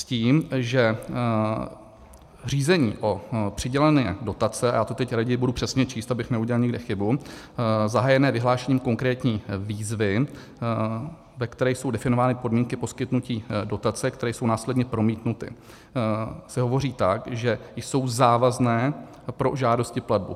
S tím, že řízení o přidělení dotace - já to teď raději budu přesně číst, abych neudělal někde chybu - zahájené vyhlášením konkrétní výzvy, ve které jsou definovány podmínky poskytnutí dotace, které jsou následně promítnuty, se hovoří tak, že jsou závazné pro žádost i platbu.